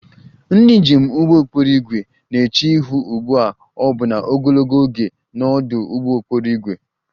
Ndị njem ụgbọ okporo ígwè na-eche ihu ugbu a ọbụna ogologo oge na ọdụ ụgbọ okporo ígwè